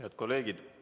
Head kolleegid!